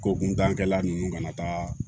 Ko kuntankɛla nunnu kana taaga